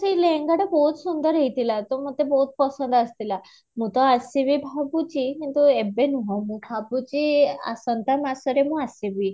ସେ ଲେହେଙ୍ଗାଟା ବହୁତ ସୁନ୍ଦର ହେଇଥିଲା ତ ମୋତେ ବହୁତ ପସନ୍ଦ ଆସିଥିଲା, ମୁଁ ତ ଆସିବି ଭାବୁଛି କିନ୍ତୁ ଏବେ ନୁହଁ ମୁଁ ଭାବୁଛି ଆସନ୍ତା ମାସରେ ମୁଁ ଆସିବି